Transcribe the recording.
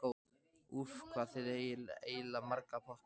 Úff, hvað eigið þið eiginlega marga potta?